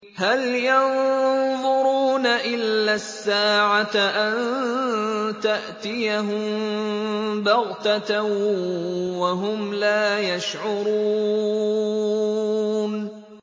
هَلْ يَنظُرُونَ إِلَّا السَّاعَةَ أَن تَأْتِيَهُم بَغْتَةً وَهُمْ لَا يَشْعُرُونَ